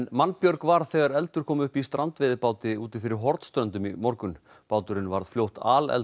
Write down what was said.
mannbjörg varð þegar eldur kom upp í strandveiðibáti úti fyrir Hornströndum í morgun báturinn varð fljótt